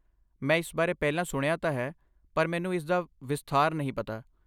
ਮੈਂ ਇਸ ਬਾਰੇ ਪਹਿਲਾਂ ਸੁਣਿਆ ਤਾਂ ਹੈ, ਪਰ ਮੈਨੂੰ ਇਸਦਾ ਵਿਸਥਾਰ ਨਹੀਂ ਪਤਾ।